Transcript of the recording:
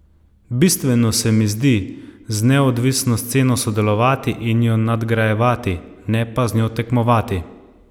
Bistveno se mi zdi z neodvisno sceno sodelovati in jo nadgrajevati, ne pa z njo tekmovati.